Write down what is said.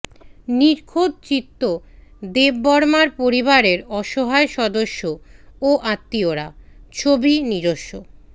নিখোঁজ চিত্ত দেববর্মার পরিবারের অসহায় সদস্য ও আত্মীয়রা ছবি নিজস্ব